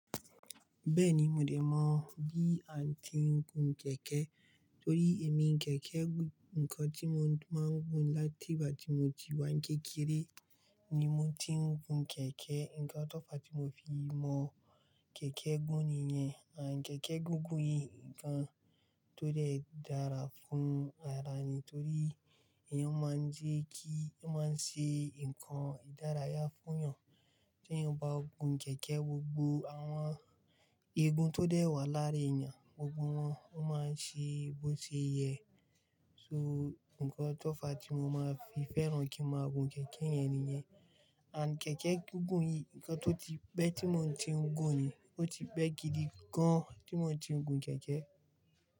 Bẹ́ẹ̀ni, mo dè mọ̀ bí à ń ti gùn kẹ̀kẹ́ tọrí èmi kẹ̀kẹ́ gùn. Ǹkan tí mo máa ń gùn láti ìgbà tí mo ti wá ń kékeré ni mo ti ń gùn kẹ̀kẹ́. Ǹkan tọ̀fa tí mo fi mọ̀ kẹ̀kẹ́ gùn nìyẹn. À, kẹ̀kẹ́ gùgùn yi ńkan tó dẹ́ dára fún ara ni torí èèyàn máa ń jẹ́ kí, ó máa ń ṣe ńkan ìdárayá fún yàn. Tí èèyàn bá gùn kẹ̀kẹ́, gbogbo àwọn igun tó dẹ́ wà lára èèyàn, gbogbo wọn ó máa ṣe bó ṣe yẹ. So ńkan tọ̀ fa tí mo máa ń fi fẹ́ran kí n máa gùn kẹ̀kẹ́ yẹn nìyẹn. And kẹ́kẹ́ gúngùn yìí, nǹkan tó ti pẹ́ tí mo ti ń gùn ni. Ó ti pẹ́ gidi gan tí mo ti ń gùn kẹ̀kẹ́.